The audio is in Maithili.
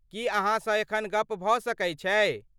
की अहाँसँ एखन गप भऽ सकै छै?